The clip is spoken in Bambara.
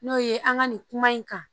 N'o ye an ka nin kuma in kan